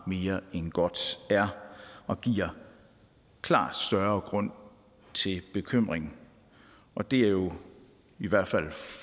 mere end godt er og giver klart større grund til bekymring og det er jo i hvert fald